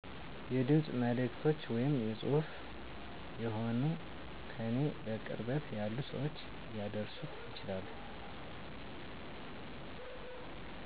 የድምፅ መልዕክቶች ወይም ፅሁፍች ሆነዉ ከኔ በቅርበት ያሉ ሰዎች ሊያደርሱት ይችላሉ